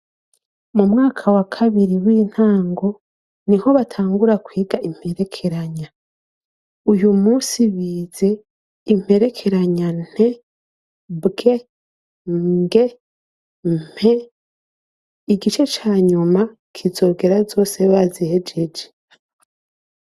Mu mwaka wa kabiri w'intango ni ho batangura kwiga imperekeranya uyu musi bize imperekeranya nte bwe mge mpe igice ca nyuma kizogera zose bazihejeje.